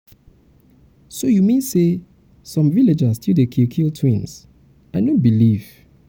so you mean say some villages still dey kill kill twins. i no believe.